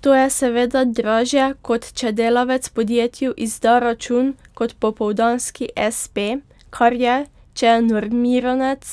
To je seveda dražje, kot če delavec podjetju izda račun kot popoldanski espe, kar je, če je normiranec,